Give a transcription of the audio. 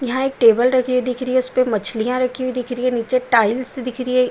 यहाँ एक टेबल लगी हुई दिख रही है। उसपे मछलिया रखी हुई दिख रही है। नीचे टाइल्स दिख रही है।